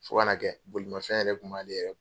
Fo ka na kɛ bolimafɛn yɛrɛ kun b'ale yɛrɛ